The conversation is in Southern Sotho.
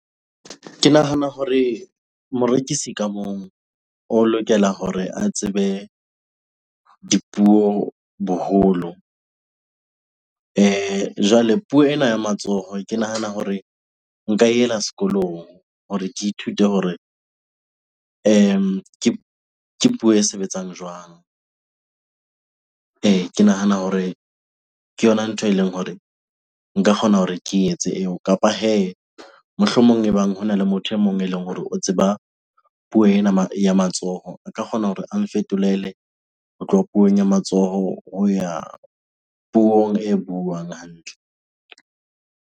Ke nahana hore morekisi ka mong o lokela hore a tsebe dipuo boholo. Jwale puo ena ya matsoho ke nahana hore nka e ela sekolong hore ke ithute hore ke puo e sebetsang jwang? Ke nahana hore ke yona ntho eleng hore nka kgona hore ke etse eo kapa hee mohlomong ebang hona le motho e mong eleng hore o tseba puo ena ya matsoho. A ka kgona hore a nfetolele ho tloha puong ya matsoho ho ya puong e buang hantle.